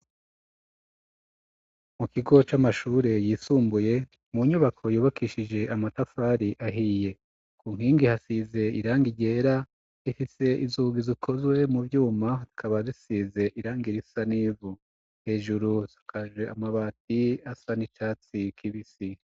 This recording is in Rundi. Mu kigo c'amashure yisumbuye mu nyubako yubakishije amatafari ahiye ku nkingi hasize irangi gera ifise izugi zikozwe mu byuma tkaba zisize irang irisanivu hejuru zukaje amabati asa n'icatsi kibisi.